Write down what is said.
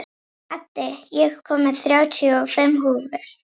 Addi, ég kom með þrjátíu og fimm húfur!